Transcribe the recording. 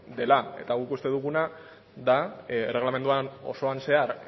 dela eta guk uste duguna da erregelamenduan osoan zehar